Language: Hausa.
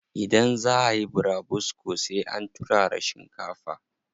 Idan zaa ayi burabusko sai an turara shinkafa.